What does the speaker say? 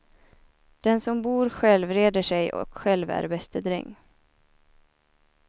Den som bor själv reder sig och själv är bäste dräng.